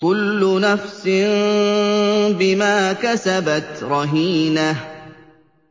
كُلُّ نَفْسٍ بِمَا كَسَبَتْ رَهِينَةٌ